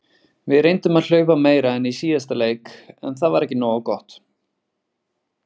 Við reyndum að hlaupa meira en í síðasta leik en það var ekki nógu gott.